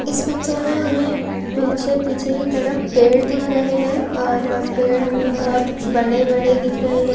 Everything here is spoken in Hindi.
इस पिक्चर में हमे पीछे पीछे की तरफ पेड़ दिख रहे है। और पेड़ हमे बहुत बड़े - बड़े दिख रहे है।